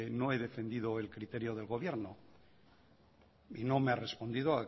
no he defendido el criterio del gobierno y no me ha respondido